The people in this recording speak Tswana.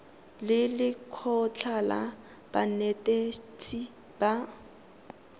le lekgotlha la banetetshi ba